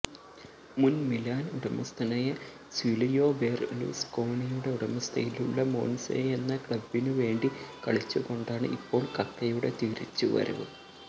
മുന് മിലാന് ഉടമസ്ഥനായ സില്വിയോ ബെര്ലുസ്കോണിയുടെ ഉടമസ്ഥതയിലുള്ള മോന്സയെന്ന ക്ലബ്ബിനു വേണ്ടി കളിച്ചുകൊണ്ടാണ് ഇപ്പോള് കക്കയുടെ തിരിച്ചുവരവ്